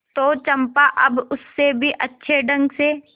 तो चंपा अब उससे भी अच्छे ढंग से